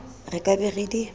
re ka be re di